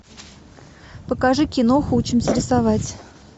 покажи киноху учимся рисовать